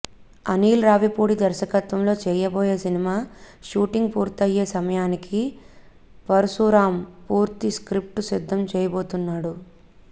అనిల్ రావపూడి దర్శకత్వంలో చేయబోయే cinema shooting పూర్తయ్యే సమయానికి పరశురాం పూర్తి స్క్రిప్టు సిద్ధం చేయబోతున్నాడు